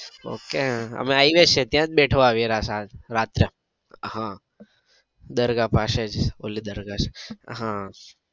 ok અમે આવીએ છીએ ત્યાં જ બેઠો હોય રાત્રે હા દરગાહ પાસે જ ઓલી દરગાહ છે. આહ